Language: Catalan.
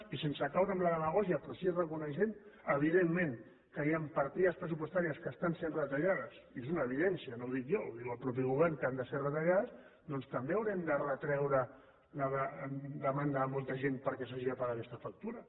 i sense caure en la demagògia però sí que reconeixent evidentment que hi han partides pressupostàries que estan sent retallades i és una evidència no ho dic jo ho diu el mateix govern que han de ser retallades doncs també haurem de retreure la demanda de molta gent perquè s’hagi de pagar aquesta factura